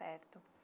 Certo.